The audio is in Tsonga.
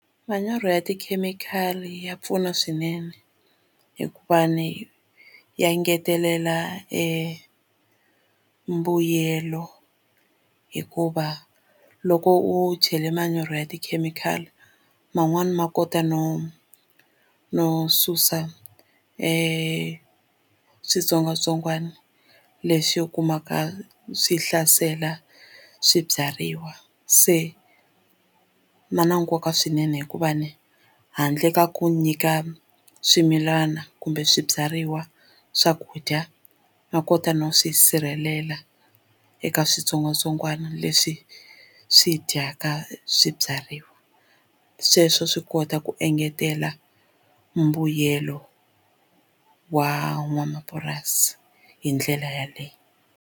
Manyoro ya tikhemikhali ya pfuna swinene hikuva ni ya ngetelela e mbuyelo hikuva loko u chela manyoro ya tikhemikhali man'wani ma kota no no susa switsongwatsongwana leswi u kumaka swi hlasela swibyariwa se na nkoka swinene hikuva ni handle ka ku nyika swimilana kumbe swibyariwa swakudya no kota no swi sirhelela eka switsongwatsongwana leswi swi dyaka swibyariwa sweswo swi kota ku engetela mbuyelo wa n'wamapurasi hi ndlela yaleyo.